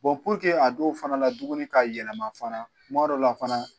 Bɔn puruke a dɔw fana ka dumuni ka yɛlɛma fana kuma dɔw la fana